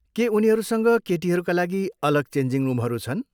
के उनीहरूसँग केटीहरूका लागि अलग चेन्जिङ रुमहरू छन्?